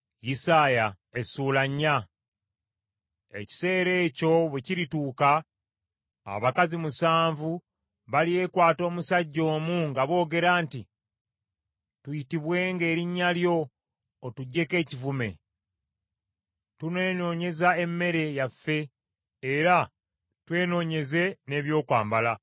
Ekiseera ekyo bwe kirituuka abakazi musanvu balyekwata omusajja omu nga boogera nti, Tuyitibwenga erinnya lyo, otuggyeko ekivume. Tunenoonyezanga emmere yaffe era twenoonyeze n’ebyokwambala.